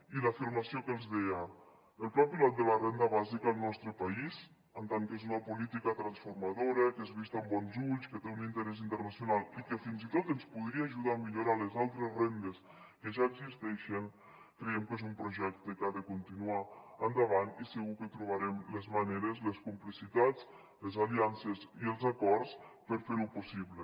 i l’afirmació que els deia el pla pilot de la renda bàsica al nostre país en tant que és una política transformadora que és vist amb bons ulls que té un interès internacional i que fins i tot ens podria ajudar a millorar les altres rendes que ja existeixen creiem que és un projecte que ha de continuar endavant i segur que trobarem les maneres les complicitats les aliances i els acords per fer ho possible